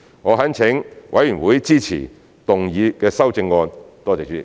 我懇請委員支持動議的修正案，多謝主席。